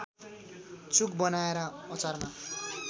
चुक बनाएर अचारमा